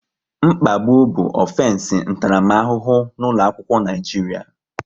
Mkpagbu bụ ọfensi ntaramahụhụ n'ụlọ akwụkwọ Naijiria